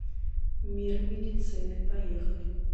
мир медицины поехали